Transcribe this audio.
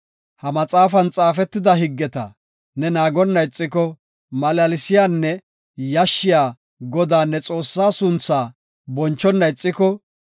Ha maxaafan xaafetida higgeta ne naagonna ixiko, malaalsiyanne yashshiya Godaa, ne Xoossaa suntha bonchona ixiko,